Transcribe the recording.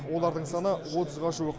олардың саны отызға жуық